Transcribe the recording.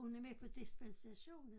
Hun er med på dispensation